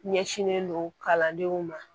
Ɲɛsinnen don kalandenw ma